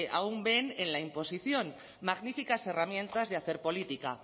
aún ven en la imposición magníficas herramientas de hacer política